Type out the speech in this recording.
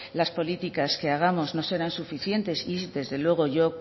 las políticas que hagamos no serán suficientes y desde luego yo